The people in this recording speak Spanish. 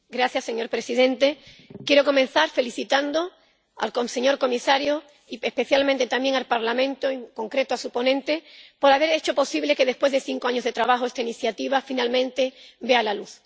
Señor presidente, quiero comenzar felicitando al señor comisario y especialmente también al Parlamento —y, en concreto, a su ponente— por haber hecho posible que después de cinco años de trabajo esta iniciativa finalmente vea la luz.